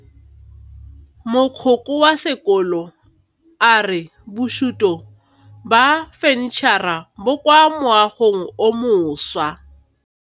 Mogokgo wa sekolo a re bosutô ba fanitšhara bo kwa moagong o mošwa.